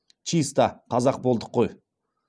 чиста қазақ болдық қой